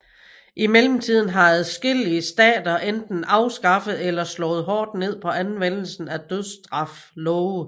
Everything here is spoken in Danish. I mellemtiden har adskillige stater enten afskaffet eller slået hårdt ned på anvendelsen af dødsstraf love